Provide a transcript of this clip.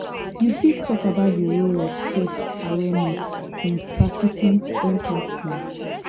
you fit talk about di role of self-awareness in practicing empathy?